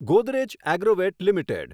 Godrej Agrovet limited